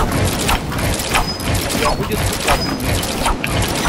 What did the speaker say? у тебя будет усатый нянь